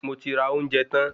Moti ra ounjẹ tan